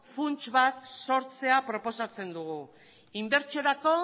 funts bat sortzea proposatzen dugu inbertsiorako